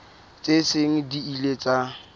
tse seng di ile tsa